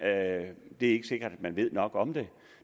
er ikke sikkert at man ved nok om det